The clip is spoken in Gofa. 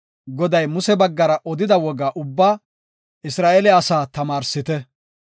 Goday Muse baggara odida woga ubbaa Isra7eele asaa tamaarsite.